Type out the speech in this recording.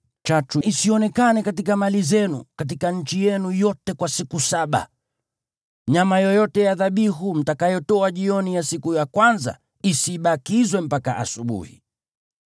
Chachu isionekane katika mali zenu katika nchi yenu yote kwa siku saba. Nyama yoyote ya dhabihu mtakayotoa jioni ya siku ya kwanza isibakizwe mpaka asubuhi.